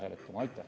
Aitäh!